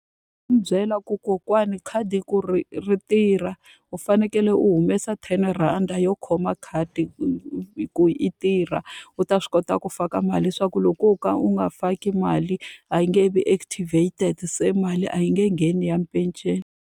byela ku kokwani khadi ku ri ri tirha, u fanekele u humesa ten rhandi yo khoma khadi ku i tirha. U ta swi kota ku faka mali leswaku loko wo ka u nga faki mali a yi nge vi activated. Se mali a yi nge ngheni ya penceni.